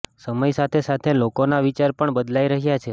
સમય સાથે સાથે લોકોના વિચાર પણ બદલાઈ રહ્યા છે